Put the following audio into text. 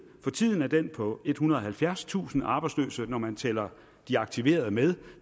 for tiden er den på ethundrede og halvfjerdstusind arbejdsløse når man tæller de aktiverede med